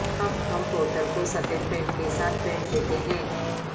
ہم پورٹل کو سفید پینٹ کے ساتھ پینٹ دیتے ہیں